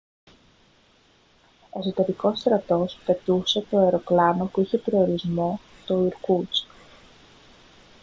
εσωτερικός στρατός πετούσε το αεροπλάνο που είχε προορισμό το ιρκούτσκ